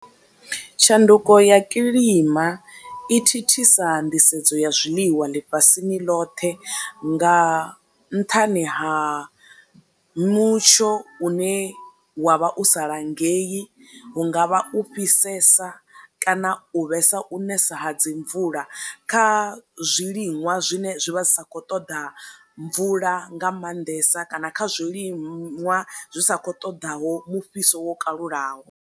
Tshanduko ya kiḽima i thithisa nḓisedzo ya zwiḽiwa ḽifhasini ḽothe nga nṱhani ha mutsho une wa vha u sa langei hunga vha u fhisesa kana u vhesa u nesa ha dzi mvula kha zwiliṅwa zwine zwi vha zwi sa kho ṱoḓa mvula nga maanḓesa kana kha zwiliṅwa zwi sa kho ṱoḓaho mufhiso wo kalulaho.